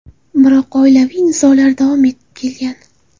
Biroq oilaviy nizolar davom etib kelgan.